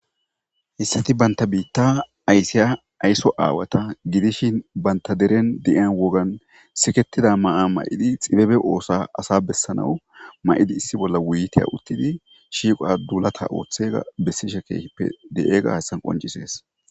Assati banta biitta aysiya aysso aawata gidishin banta deren de'iyan wogan siketida ma'a may'idi xibebe ooso asa bessanawu ma'idi issi bolla wuytiya uttidi shiiqoa duulata ooththega bessishe keeppe de'iyaga hassan qoncises